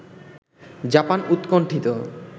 Japan উৎকণ্ঠিত